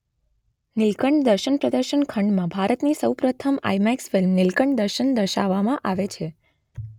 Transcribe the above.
નીલકંઠ દર્શન પ્રદર્શન ખંડમાં ભારતની સૌપ્રથમ આઇમેક્સ ફિલ્મ નીલકંઠ દર્શન દર્શાવામાં આવે છે.